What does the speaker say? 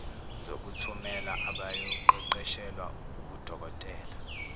zokuthumela abayoqeqeshelwa ubudokotela